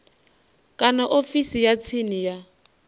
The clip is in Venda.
kana ofisini ya tsini ya